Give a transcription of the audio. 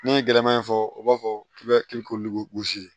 N'i ye gɛlɛman fɔ o b'a fɔ k'i bɛ ko lu gosi